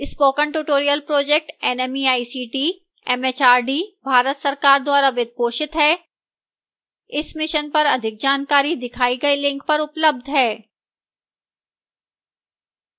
spoken tutorial project nmeict mhrd Bharat सरकार द्वारा वित्त पोषित है इस mission पर अधिक जानकारी दिखाई गई link पर उपलब्ध है